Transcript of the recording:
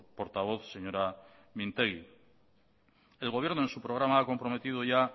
portavoz señora mintegi el gobierno en su programa ha comprometido ya